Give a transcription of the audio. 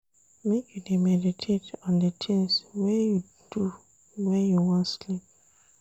Make you dey meditate on di tins wey you do wen you wan sleep.